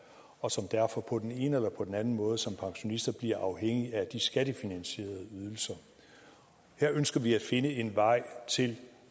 og som derfor på den ene eller på den anden måde som pensionister bliver afhængige af de skattefinansierede ydelser her ønsker vi at finde en vej til